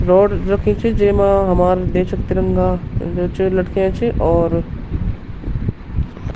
रॉड रखीं च जेमा हमार देश क् तिरंगा जो च लटक्यां च और --